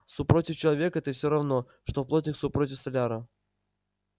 супротив человека ты всё равно что плотник супротив столяра